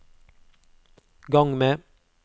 gang med